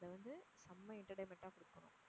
அதை வந்து நம்ம entertainment ஆ குடுக்கணும்.